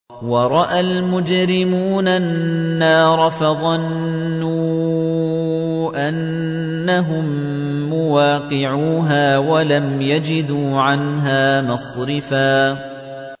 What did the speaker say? وَرَأَى الْمُجْرِمُونَ النَّارَ فَظَنُّوا أَنَّهُم مُّوَاقِعُوهَا وَلَمْ يَجِدُوا عَنْهَا مَصْرِفًا